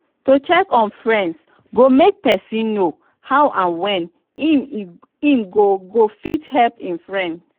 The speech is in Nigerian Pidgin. to check on friends go make persin know how and when im go go fit help im friends